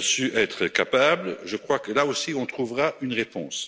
su être capables, je crois que, là aussi, on trouvera une réponse.